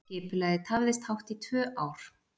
Skipulagið tafðist hátt í tvö ár